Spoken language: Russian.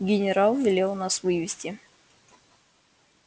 генерал велел нас вывести